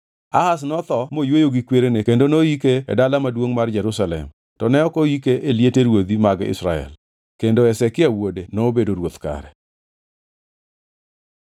Ahaz notho moyweyo gi kwerene kendo noyike e dala maduongʼ mar Jerusalem; to ne ok oike e liete ruodhi mag Israel. Kendo Hezekia wuode nobedo ruoth kare.